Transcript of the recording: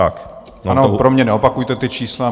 Ano, pro mě neopakujte ta čísla.